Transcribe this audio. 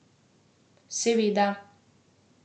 Seveda.